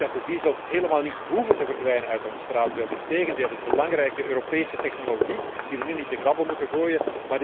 diesels. Ik denk dat de diesels helemaal niet hoeven te verdwijnen uit ons straatbeeld. Integendeel, dit is belangrijke Europese technologie die we nu niet te grabbel moeten